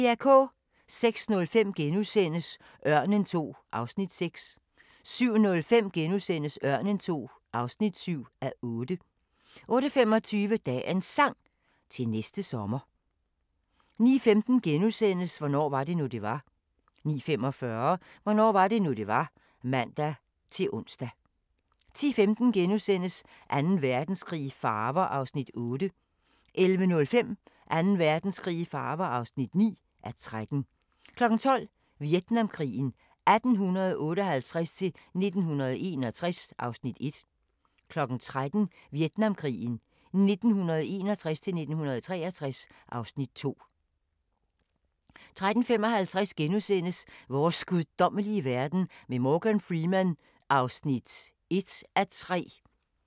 06:05: Ørnen II (6:8)* 07:05: Ørnen II (7:8)* 08:25: Dagens Sang: Til næste sommer 09:15: Hvornår var det nu, det var? * 09:45: Hvornår var det nu det var (man-ons) 10:15: Anden Verdenskrig i farver (8:13)* 11:05: Anden Verdenskrig i farver (9:13) 12:00: Vietnamkrigen 1858-1961 (Afs. 1) 13:00: Vietnamkrigen 1961-1963 (Afs. 2) 13:55: Vores guddommelige verden med Morgan Freeman (1:3)*